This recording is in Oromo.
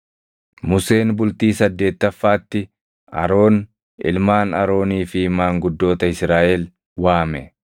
Museen bultii saddeettaffaatti Aroon, ilmaan Aroonii fi maanguddoota Israaʼel waame;